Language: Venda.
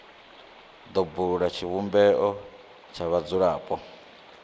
do bula tshivhumbeo tsha vhadzulapo